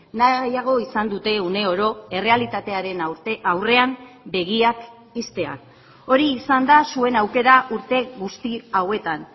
nahiago izan dute uneoro errealitatearen aurrean begiak ixtea hori izan da zuen aukera urte guzti hauetan